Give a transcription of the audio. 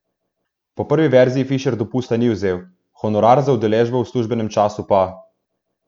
Po prvi verziji Fišer dopusta ni vzel, honorar za udeležbo v službenem času pa.